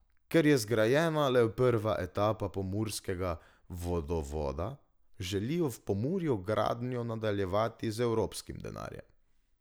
Ker je zgrajena le prva etapa pomurskega vodovoda, želijo v Pomurju gradnjo nadaljevati z evropskim denarjem.